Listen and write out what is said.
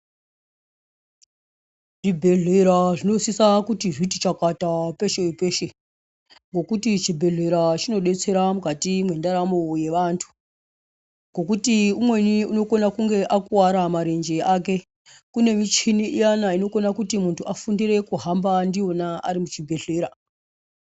Zvibhedhlera zvinosisa kuti zviti chakata peshe-peshe, ngokuti chibhedhlera chinodetsera mukati mwendaramo yevanthu. Ngokuti umweni unokone kunge akuwara marenje ake, kune michini iyana inokona kuti munthu afundire kuhamba ndiyona ari muchibhedhlera.